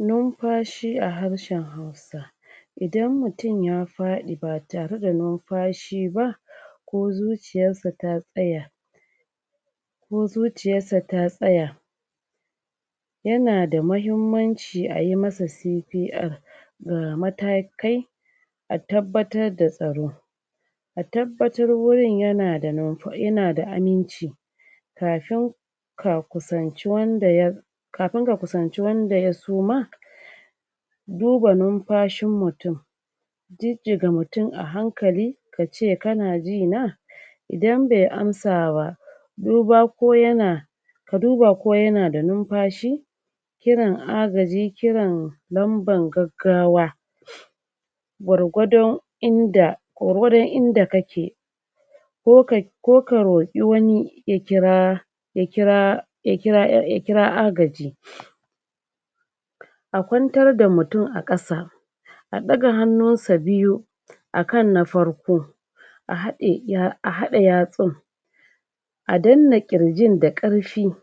Numfashi a harshen Hausa idan mutum ya faɗi ba tare da numfashi ba ko zuciyarsa ta tsaya ko zuciyarsa ta tsaya yana da mahimmanci ai masa CPR ga matakai a tabbatar da tsaro a tabbatar wurin yana da numf yana da aminci kafin ka kusanci wanda ya kafin ka kusanci wanda ya suma duna numfashin mutum jijjiga mutum a hankali ka ce kana ji na idan bai amsa wa duba ko yana ka duba ko yana da numfashi kiran agaji kiran namban gaggawa gwargwadon inda gwargwardon inda kake ko ka ko ka roƙi wani ya kira ya kira ya kira ya ya kira agaji a kwantar da mutum a ƙasa a ɗaga hannunsa biyu akan na farko a haɗe ya a haɗe yatsun a dannan ƙirjin da ƙarfi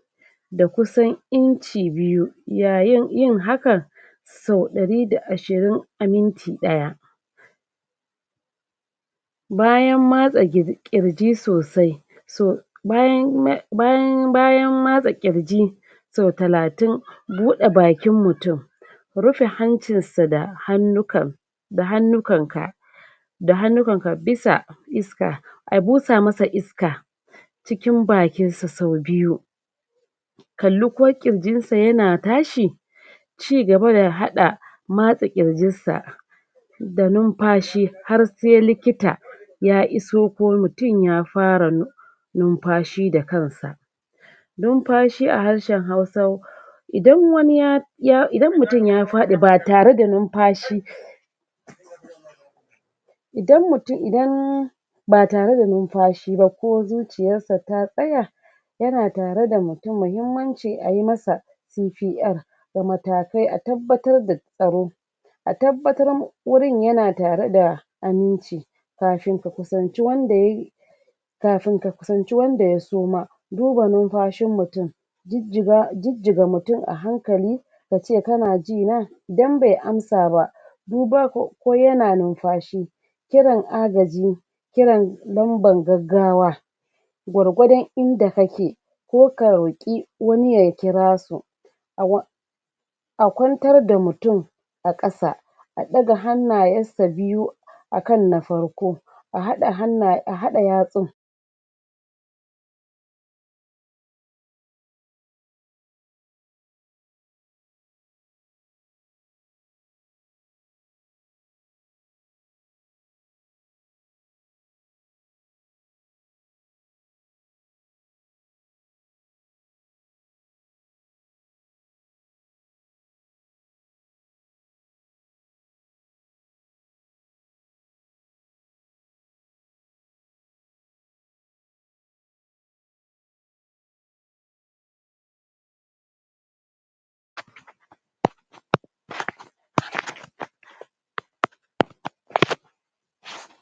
da kusan Inci biyu yayin yin hakan sau ɗari da ashirin a minti ɗaya bayan matsa gir ƙirji sosai so bayan ma bayan bayan matsa ƙirji sau talatin buɗe bakin mutum rufe hancinsa da hannukan da hannukanka da hannukanka bisa iska a busa masa iska cikin bakinsa sau biyu kalli ko ƙirjinsa yana tashi ci gaba da haɗa masta ƙirjinsa da numfashi har se likita ya iso ko mutum ya fara num numfashi da kansa numfashi a harshen Hausa idan wani ya ya idan mutum ya faɗi ba tare da numfashi idan mutum idan ba tare da numfashi ba ko zuciyarsa ta tsaya yana tare da mutum muhimmancin ai masa CPN da matakai a tabbatar da tsaro a tabbatar wurin yana tare da aminci kafin ka kusanci wanda yai kafin ka kusanci wanda ya suma duba numfashin mutum jijjiga jijjiga mutum a hankali ka ce kana ji na don bai amsa ba duba ko ko yana numfashi kiran agaji kiran namban gaggawa gwargwadon inda kake ko ka roƙi wani ya kira su a kwantar da mutum a ƙasa a ɗaga hannayesa biyu akan na farko a haɗa hanna a haɗa yatsun um